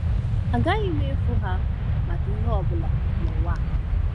Agaghị m efu ha maka ihe ọ bụla n’ụwa!